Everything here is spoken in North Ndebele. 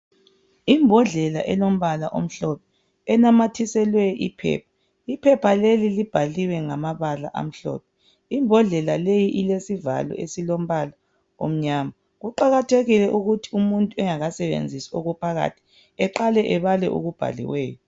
Imbodlela elombala omhlophe, enamathiselwe iphepha. Iphepha leli libhaliwe ngamabala amhlophe. Imbodlela leyi ilesivalo esilombala omnyama. Kuqakathekile ukuthi umuntu engakasebenzisi okuphakathi eqale ebale okubhaliweyo.